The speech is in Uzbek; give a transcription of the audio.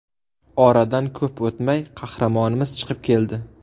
Oradan ko‘p o‘tmay qahramonimiz chiqib keldi.